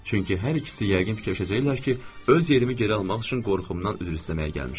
Çünki hər ikisi yəqin fikirləşəcəklər ki, öz yerimi geri almaq üçün qorxumdan üzr istəməyə gəlmişəm.